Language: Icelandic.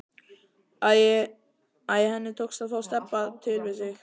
Æ, henni tókst að fá Stebba til við sig.